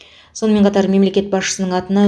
сонымен қатар мемлекет басшысының атына